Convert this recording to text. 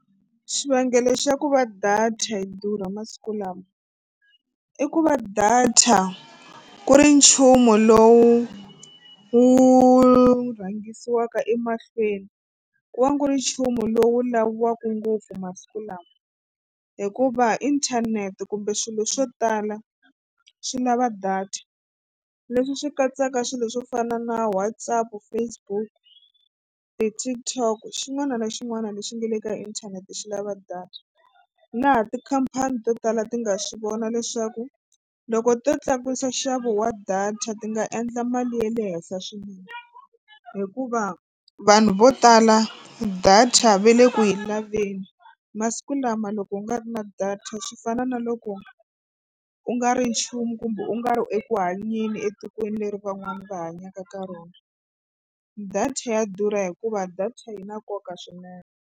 Xivangelo xa ku va data yi durha masiku lama i ku va data ku ri nchumu lowu wu rhangisiwaka emahlweni ku va ku ri nchumu lowu laviwaka ngopfu masiku lawa hikuva inthanete kumbe swilo swo tala swi lava data leswi swi katsaka swilo swo fana na WhatsApp, Facebook, ti-TikTok xin'wana na xin'wana lexi nga le ka inthanete xi lava data. Laha tikhampani to tala ti nga swi vona leswaku loko to tlakusa nxavo wa data ti nga endla mali ya le henhla swinene hikuva vanhu vo tala data ve le ku yi laveni masiku lama loko u nga ri na data swi fana na loko u nga ri nchumu kumbe u nga ri eku hanyeni etikweni leri van'wani va hanyaka ka rona data ya durha hikuva data yi na nkoka swinene.